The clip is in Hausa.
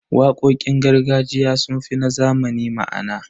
Waƙoƙin gargajiya sun fi na zamani ma'ana.